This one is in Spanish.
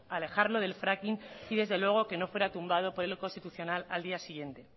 alejarlo del fracking y desde luego que no fuera tumbado por el constitucional al día siguiente